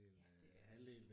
Ja det er